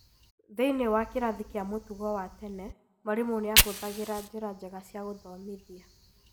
Thĩinĩ wa kĩrathi kĩa mũtugo wa tene, mwarimũ nĩ ahũthagĩra njĩra njega cia gũthomithia.